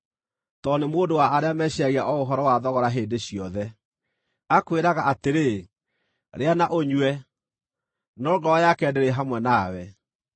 tondũ nĩ mũndũ wa arĩa meciiragia o ũhoro wa thogora hĩndĩ ciothe. Akwĩraga atĩrĩ, “Rĩa na ũnyue,” no ngoro yake ndĩrĩ hamwe nawe.